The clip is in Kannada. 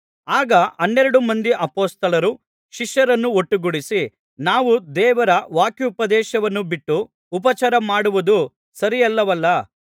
ಆಗ ಹನ್ನೆರಡು ಮಂದಿ ಅಪೊಸ್ತಲರು ಶಿಷ್ಯರನ್ನು ಒಟ್ಟುಗೂಡಿಸಿ ನಾವು ದೇವರ ವಾಕ್ಯೋಪದೇಶವನ್ನು ಬಿಟ್ಟು ಉಪಚಾರಮಾಡುವುದು ಸರಿಯಲ್ಲವಲ್ಲಾ